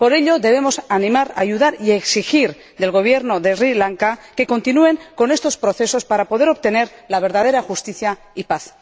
Por ello, debemos animar, ayudar y exigir del Gobierno de Sri Lanka que continúe con estos procesos para poder obtener la verdadera justicia y paz.